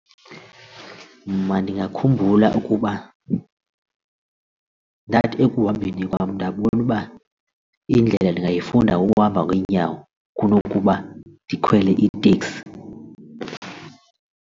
Mna ndingakhumbula ukuba ndathi ekuhambeni kwam ndabona uba indlela ndingayifunda ngokuhamba ngeenyawo kunokuba ndikhwele iiteksi.